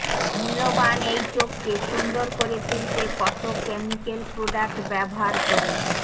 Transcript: মূল্যবান এই চোখকে সুন্দর করে তুলতে কত ক্যামিক্যাল প্রোডাক্ট ব্যবহার করি